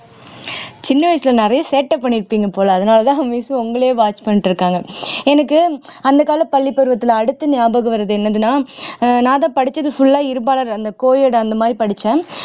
சின்ன வயசுல நிறைய சேட்டை பண்ணிருப்பீங்க போல அதனாலதான் miss உங்களையே watch பண்ணிட்டு இருக்காங்க எனக்கு அந்த கால பள்ளிப்பருவத்துல அடுத்து ஞாபகம் வர்றது என்னதுன்னா ஆஹ் நான்தான் படிச்சது full ஆ இருபாலர் அந்த co edit அந்த மாதிரி படிச்சேன்